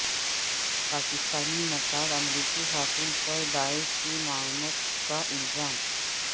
پاکستانی نژاد امریکی خاتون پر داعش کی معاونت کا الزام